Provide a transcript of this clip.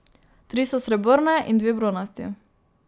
Tri so srebrne in dve bronasti.